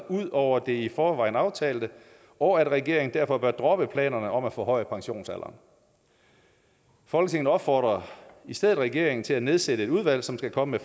ud over det i forvejen aftalte og at regeringen derfor bør droppe planerne om at forhøje pensionsalderen folketinget opfordrer i stedet regeringen til at nedsætte et udvalg som skal komme